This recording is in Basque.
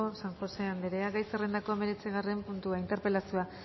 san josé andrea gai zerrendako hamazortzigarren puntua interpelazioa